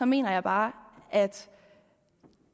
mener jeg bare at